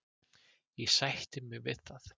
Ég sætti mig við það.